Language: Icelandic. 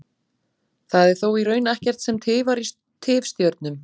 Það er þó í raun ekkert sem tifar í tifstjörnum.